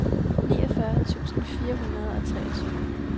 niogfyrre tusind fire hundrede og treogtyve